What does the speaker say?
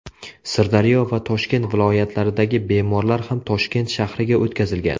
Sirdaryo va Toshkent viloyatlaridagi bemorlar ham Toshkent shahriga o‘tkazilgan.